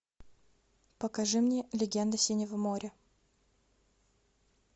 покажи мне легенды синего моря